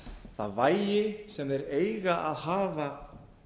það vægi sem þeir eiga að hafa